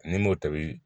N'i m'o tobi